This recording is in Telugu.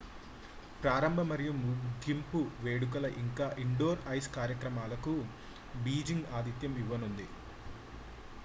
ప్రారంభ మరియు ముగింపు వేడుకలు ఇంకా ఇండోర్ ఐస్ కార్యక్రమాలకు బీజింగ్ ఆతిథ్యం ఇవ్వనుంది